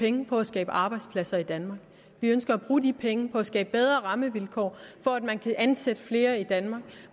penge på at skabe arbejdspladser i danmark vi ønsker at bruge de penge på at skabe bedre rammevilkår for at man kan ansætte flere i danmark